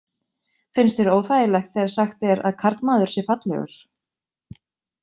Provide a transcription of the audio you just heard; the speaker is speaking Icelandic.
Finnst þér óþægilegt þegar sagt er að karlmaður sé fallegur?